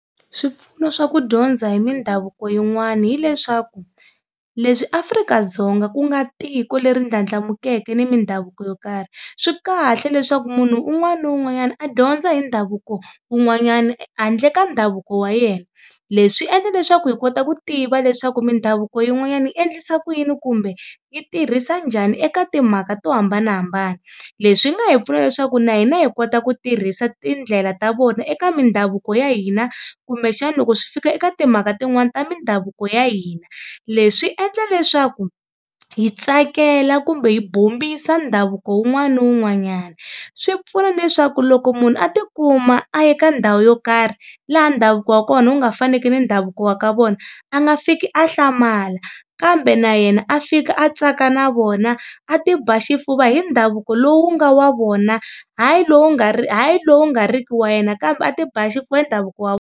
Swipfuno swa ku dyondza hi mindhavuko yin'wana hileswaku leswi Afrika-Dzonga ku nga tiko leri ndlandlamukeke ni mindhavuko yo karhi swi kahle leswaku munhu un'wana na un'wanyana a dyondza hi ndhavuko wun'wanyana handle ka ndhavuko wa yena leswi swi endla leswaku hi kota ku tiva leswaku mindhavuko yin'wanyana yi endlisa ku yini kumbe yi tirhisa njhani eka timhaka to hambanahambana. Leswi nga hi pfuna leswaku na hina hi kota ku tirhisa tindlela ta vona eka mindhavuko ya hina kumbe xana loko swi fika eka timhaka tin'wania ta mindhavuko ya hina, leswi endla leswaku hi tsakela kumbe hi bombisa ndhavuko wun'wana na wun'wanyana, swi pfuna na leswaku loko munhu a tikuma a ye ka ndhawu yo karhi laha ndhavuko wa kona wu nga faneki ni ndhavuko wa ka vona a nga fiki a hlamala kambe na yena a fika a tsaka na vona a ti ba xifuva hi ndhavuko lowu nga wa vona hayi lowu nga hayi lowu nga ri ki wa yena kambe a ti ba xifuva i ndhavuko .